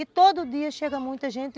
E todo dia chega muita gente.